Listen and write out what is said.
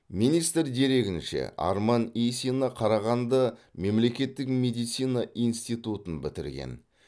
министр дерегінше арман исина қарағанды мемлекеттік медицина институтын бітірген